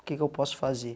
O que que eu posso fazer?